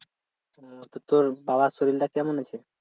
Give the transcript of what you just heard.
ও তো তোর বাবার শরীরটা কেমন আছে?